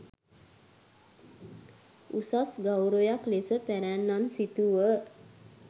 උසස් ගෞරවයක් ලෙස පැරැන්නන් සිතූහ.